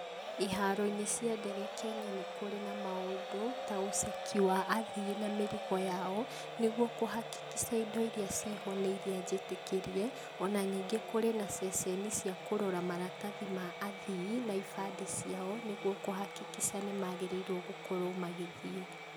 Iharo-inĩ cia ndege Kenya nĩ kũrĩ na maundu ta ũceki wa athii a mĩrigo yao, nĩguo kũ hakikisha indo irĩa ciho nĩ irĩa njĩtĩkĩrie, ona ningĩ kũrĩ na ceceni cia kũrora maratathi ma athii na ibandĩ ciao, nĩguo kũ hakikisha nĩmagĩrĩirwo gũkorwo magĩthiĩ.